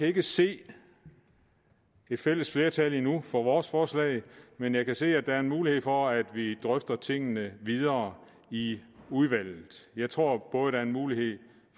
ikke se et fælles flertal endnu for vores forslag men jeg kan se at der er en mulighed for at vi drøfter tingene videre i udvalget jeg tror både der er en mulighed